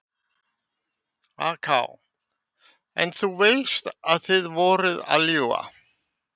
AK: En þú veist að þið voruð að ljúga?